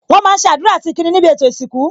Wọn máa ń ṣe àdúrà àti ìkíni níbi ètò ìsìnkú